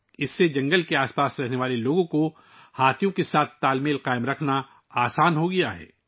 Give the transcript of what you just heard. اس سے جنگل کے آس پاس رہنے والے لوگوں کے لیے ہاتھیوں کے ساتھ توازن قائم کرنا آسان ہو گیا ہے